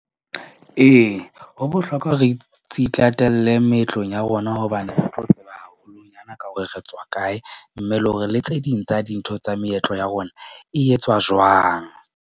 Ee, ho bohlokwa ho re tse itatele meetlong ya rona, hobane re tlo tseba haholonyana ka hore re tswa kae, mme le hore le tse ding tsa dintho tsa meetlo ya rona e etswa jwang.